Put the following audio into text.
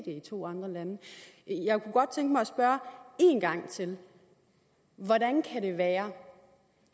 i to andre lande jeg kunne godt tænke mig at spørge en gang til hvordan kan det være